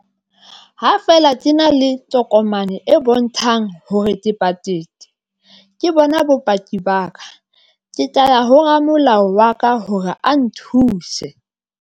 Ha fela ke na le tokomane e bontshang hore ke patetse ke bona bopaki ba ka, ke tla ya ho ramolao wa ka hore a nthuse.